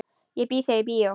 Ég býð þér í bíó.